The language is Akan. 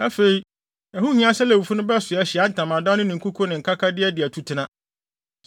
Afei, ɛho nhia sɛ Lewifo no bɛsoa Ahyiae Ntamadan no ne ne nkuku ne ne nkaka de adi atutena.”